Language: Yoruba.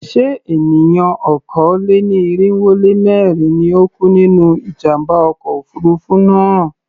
Ṣé èèyàn okòó-lé-ní-irínwó-lé-mẹ́rin ni ó kú nínú ìjàmbá ọkọ̀ òfurufú náà?